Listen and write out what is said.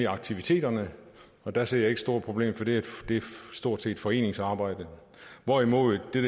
aktiviteterne og der ser jeg ikke det store problem for det er stort set foreningsarbejde hvorimod den